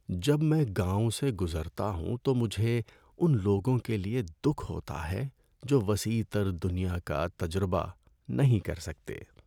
جب میں گاؤں سے گزرتا ہوں تو مجھے ان لوگوں کے لیے دکھ ہوتا ہے جو وسیع تر دنیا کا تجربہ نہیں کر سکتے۔